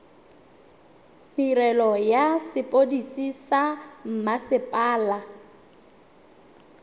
tirelo ya sepodisi sa mmasepala